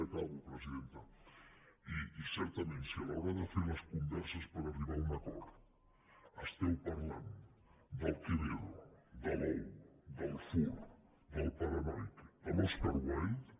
acabo presidenta i certament si a l’hora de fer les converses per arribar a un acord esteu parlant del quevedo de l’ou del furt del paranoic de l’oscar wilde